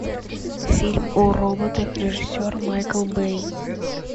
фильм о роботах режиссер майкл бэй